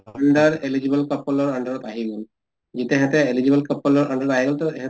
under eligible couple ৰ under ত আহি গল । যেতিয়া সেহেতে eligible couple ৰ under ত আহি টো